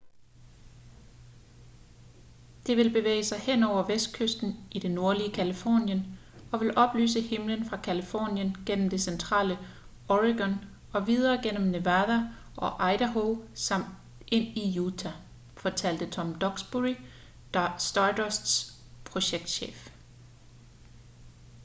det vil bevæge sig henover vestkysten i det nordlige californien og vil oplyse himlen fra californien gennem det centrale oregon og videre gennem nevada og idaho samt ind i utah fortalte tom duxbury stardusts projektchef